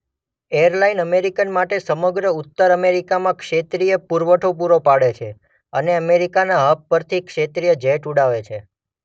Airline American માટે સમગ્ર ઉત્તર અમેરિકામાં ક્ષેત્રીય પુરવઠો પુરો પાડે છે અને અમેરિકનના હબ પરથી ક્ષેત્રીય જેટ ઉડાવે છે.